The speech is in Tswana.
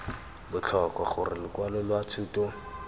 botlhokwa gore lokwalo lwa thuto